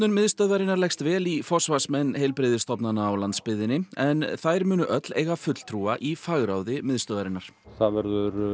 miðstöðvarinnar leggst vel í forsvarsmenn heilbrigðisstofnana á landsbyggðinni en þær munu allar eiga fulltrúa í fagráði miðstöðvarinnar það verður